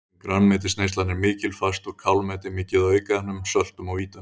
Þar sem grænmetisneyslan er mikil fæst úr kálmeti mikið af aukaefnum, söltum og vítamínum.